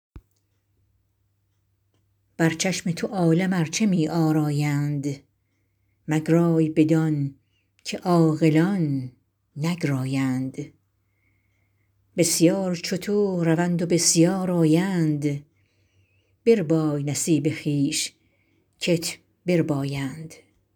بر چشم تو عالم ارچه می آرایند مگرای بدان که عاقلان نگرایند بسیار چو تو روند و بسیار آیند بربای نصیب خویش کت بربایند